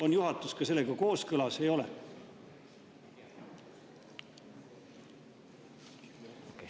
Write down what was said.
On juhatus sellega kooskõlas või ei ole?